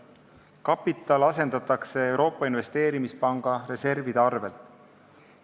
Kapital asendatakse Euroopa Investeerimispanga reservide arvel.